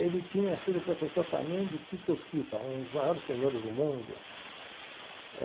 Ele tinha sido professor também de Tito Schipa, um dos maiores tenores do mundo eh.